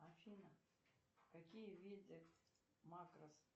афина какие виды макрос